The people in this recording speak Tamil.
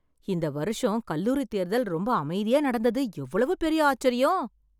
இந்த வருஷம் கல்லூரி தேர்தல் ரொம்ப அமைதியா நடந்தது எவ்வளவு பெரிய ஆச்சரியம்